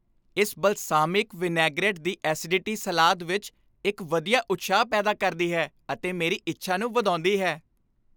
ਇਸ balsamic vinaigrette ਦੀ acidity ਸਲਾਦ ਵਿੱਚ ਇੱਕ ਵਧੀਆ ਉਤਸ਼ਾਹ ਪੈਦਾ ਕਰਦੀ ਹੈ ਅਤੇ ਮੇਰੀ ਇੱਛਾ ਨੂੰ ਵਧਾਉਂਦੀ ਹੈ।